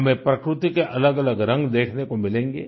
हमें प्रकृति के अलगअलग रंग देखने को मिलेंगे